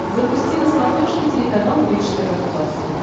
запусти на смотрешке телеканал бридж тв классик